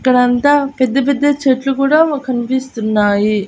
ఇక్కడంతా పెద్ద పెద్ద చెట్లు కూడా వ కన్పిస్తున్నాయి.